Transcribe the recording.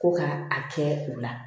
Ko ka a kɛ u la